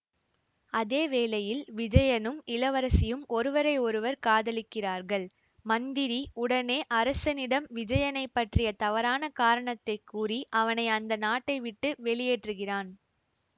அதே வேளையில் விஜயனும் இளவரசியும் ஒருவரை ஒருவர் காதலிக்கிறார்கள் மந்திரி உடனே அரசனிடம் விஜயனைப் பற்றிய தவறான காரணத்தை கூறி அவனை அந்த நாட்டை விட்டு வெளியேற்றுகிறான்